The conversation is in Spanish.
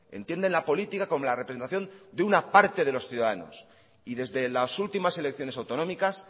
entienden la política como la representación de una parte de los ciudadanos y desde las últimas elecciones autonómicas